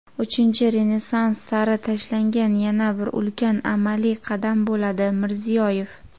Uchinchi Renessans sari tashlangan yana bir ulkan amaliy qadam bo‘ladi – Mirziyoyev.